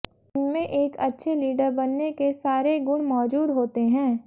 इनमे एक अच्छे लीडर बनने के सारे गुण मौजूद होते हैं